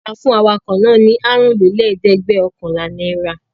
A fún awakọ̀ náà ní àrùnlélẹ́ẹ̀dẹ́gbẹ̀ọ̀kànlá náírà.